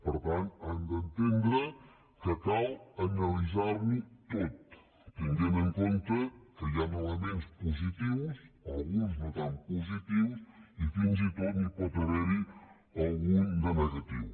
per tant han d’entendre que cal analitzar ho tot tenint en compte que hi han elements positius alguns no tant positius i fins i tot n’hi pot haver algun de negatiu